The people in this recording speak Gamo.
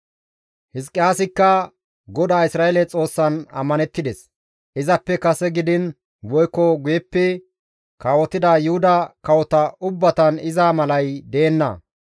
Hizqiyaasikka GODAA Isra7eele Xoossan ammanettides; izappe kase gidiin woykko guyeppe kawotida Yuhuda kawota ubbatan iza malay deenna.